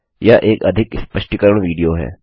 यह एक अधिक स्पष्टीकरण विडियो है